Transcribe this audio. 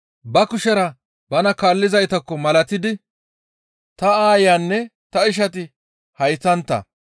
Ba kushera bana kaallizaytakko malatidi, «Ta aayanne ta ishati haytantta.